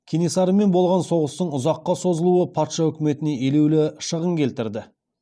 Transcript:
кенесарымен болған соғыстың ұзаққа созылуы патша үкіметіне елеулі шығын келтірді